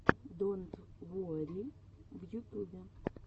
донт уорри в ютубе